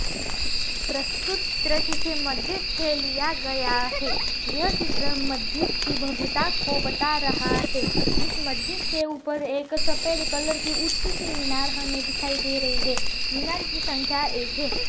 प्रस्तुत चित्र किसी मस्जिद से लिया गया हैं यह चित्र मस्जिद की भव्यता को बता रहा हैं इस मस्जिद के ऊपर एक सफ़ेद कलर की ऊँची सी मीनार हमें दिखाई दे रही हैं मीनार की संख्या एक है।